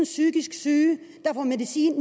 psykisk syge der får medicin